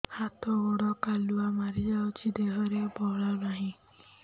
ହାତ ଗୋଡ଼ କାଲୁଆ ମାରି ଯାଉଛି ଦେହରେ ବଳ ନାହିଁ